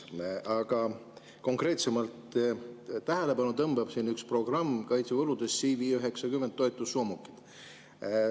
Aga konkreetsemalt, tähelepanu tõmbab üks kaitsekulude programm: CV90 toetussoomukid.